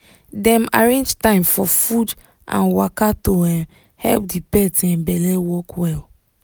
dem arrange time for food and waka to um help the pet um belle work well.